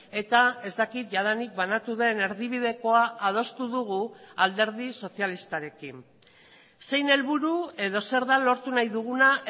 eta ez dakit jadanik banatu den erdibidekoa adostu dugu alderdi sozialistarekin zein helburu edo zer da lortu nahi duguna